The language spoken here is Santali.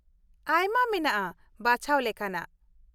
ᱟᱭᱢᱟ ᱢᱮᱱᱟᱜᱼᱟ ᱵᱟᱪᱷᱟᱣ ᱞᱮᱠᱟᱱᱟᱜ ᱾